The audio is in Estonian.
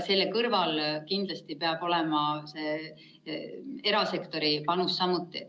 Selle kõrval peab kindlasti olema erasektori panus.